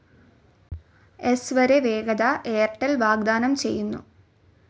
സ്‌ വരെ വേഗത എയർടെൽ വാഗ്ദാനം ചെയ്യുന്നു.